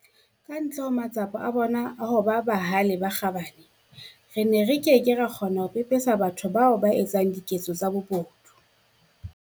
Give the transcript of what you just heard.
Ka ntle ho matsapa a bona a ho ba bahale le a kgabane, re ne re ke ke ra kgona ho pepesa batho bano ba etsang diketso tsa bobodu.